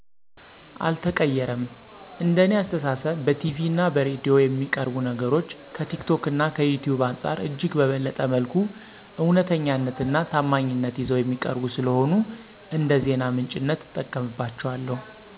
አልተቀይሬም። እንደ እኔ አስተሳሰብ በቲቪ እና በሬዲዮ የሚቀርቡ ነገሮች ከቲክቶክ እና ከዩቲዩብ አንፃር እጅግ በበለጠ መልኩ እውነተኛነት እና ታማኝነት ይዘው የሚቀርቡ ስለሆኑ እንደዜና ምንጭነት እጠቀምባቸዋለሁ።